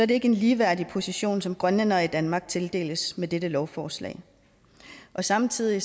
det ikke en ligeværdig position som grønlændere i danmark tildeles med dette lovforslag samtidig